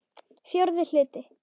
Fjórði hluti